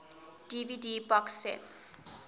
dvd box set